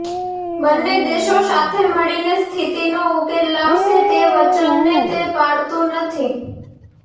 બન્ને દેશો સાથે મળીને સ્થિતિનો ઉકેલ લાવશે તે વચનને તે પાળતું નથી